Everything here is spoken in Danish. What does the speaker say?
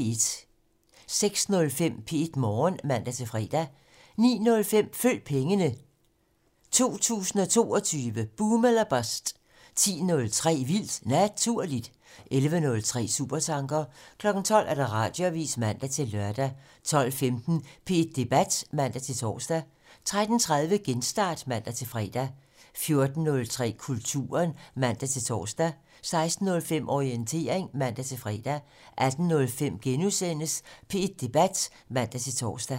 06:05: P1 Morgen (man-fre) 09:05: Følg pengene: 2022 - boom eller bust 10:03: Vildt Naturligt 11:03: Supertanker 12:00: Radioavisen (man-lør) 12:15: P1 Debat (man-tor) 13:30: Genstart (man-fre) 14:03: Kulturen (man-tor) 16:05: Orientering (man-fre) 18:05: P1 Debat *(man-tor)